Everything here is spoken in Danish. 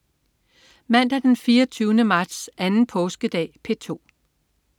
Mandag den 24. marts. Anden påskedag - P2: